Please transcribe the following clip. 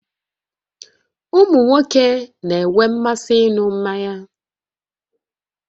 Ụmụ nwoke na-enwe mmasị ịṅụ mmanya